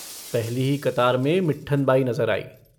पहली ही कतार में मिट्ठन बाई नजर आयी।